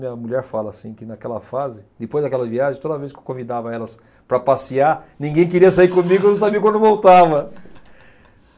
Minha mulher fala assim, que naquela fase, depois daquela viagem, toda vez que eu convidava elas para passear, ninguém queria sair comigo porque não sabia quando voltava.